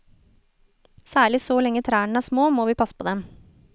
Særlig så lenge trærne er små, må vi passe på dem.